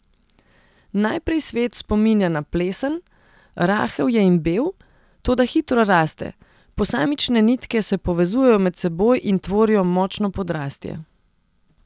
Najprej svet spominja na plesen, rahel je in bel, toda hitro raste, posamične nitke se povezujejo med seboj in tvorijo močno podrastje.